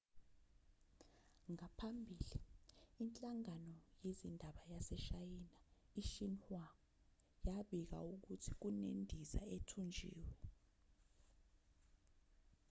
ngaphambili inhlangano yezindaba yaseshayina i-xinhua yabika ukuthi kunendiza ethunjiwe